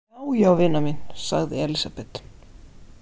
Já, já, vina mín, sagði Elísabet.